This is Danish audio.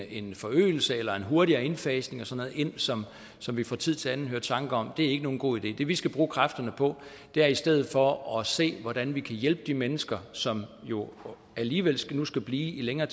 en forøgelse eller en hurtigere indfasning og sådan noget ind som som vi fra tid til anden hører tanker om er ikke nogen god idé det vil vi skal bruge kræfterne på er i stedet for at se hvordan vi kan hjælpe de mennesker som jo alligevel nu skal blive længere